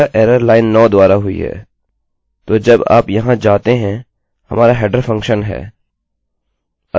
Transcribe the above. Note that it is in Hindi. और यह एररerror लाइन 9 द्वारा हुई है तो जब आप यहाँ जाते हैं हमारा हेडरheader फंक्शनfuntion है